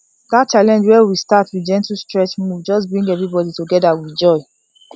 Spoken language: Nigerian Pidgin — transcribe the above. that challenge wey we start with gentle stretch move just bring everybody together with joy